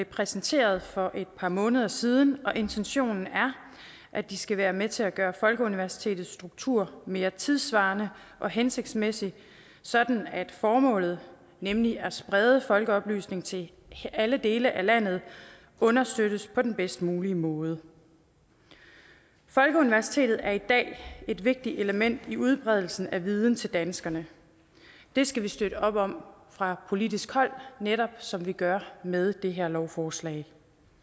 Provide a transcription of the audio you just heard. præsenteret for et par måneder siden og intentionen er at de skal være med til at gøre folkeuniversitetets struktur mere tidssvarende og hensigtsmæssig sådan at formålet nemlig at sprede folkeoplysning til alle dele af landet understøttes på den bedst mulige måde folkeuniversitetet er i dag et vigtigt element i udbredelsen af viden til danskerne det skal vi støtte op om fra politisk hold netop som vi gør med det her lovforslag